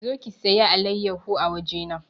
Zo ki saya alayyaho a waje na!